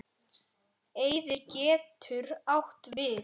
Eyðir getur átt við